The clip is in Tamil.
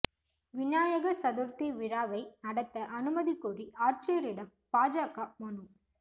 விநாயகா் சதுா்த்தி விழாவை நடத்த அனுமதி கோரி ஆட்சியரிடம் பாஜக மனு